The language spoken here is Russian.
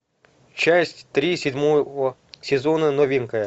часть три седьмого сезона новенькая